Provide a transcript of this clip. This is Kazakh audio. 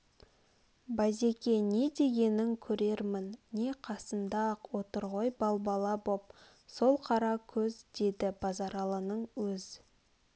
базеке не дегенің көрермін не қасында-ақ отыр ғой балбала боп сол қара көз деді базаралының өз